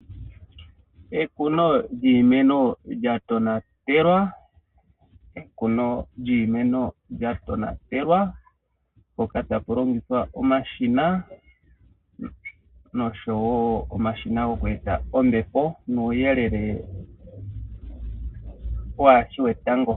Ekuno lyiimeno lyatonatelwa mpoka tapu longithwa omashina. Noshowo omashina goku eta ombepo nuuyelele waashi wetango.